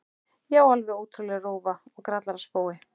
Já, alveg ótrúleg rófa og grallaraspói.